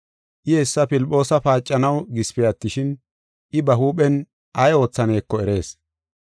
I hessa Filphoosa paacanaw gisipe attishin, I ba huuphen ay oothaneko erees.